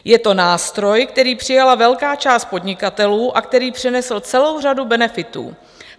Je to nástroj, který přijala velká část podnikatelů a který přinesl celou řadu benefitů.